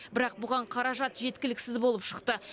бірақ бұған қаражат жеткіліксіз болып шықты